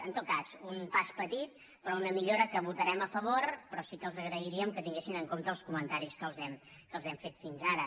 en tot cas un pas petit però una millora que votarem a favor però sí que els agrairíem que tinguessin en compte els comentaris que els hem fet fins ara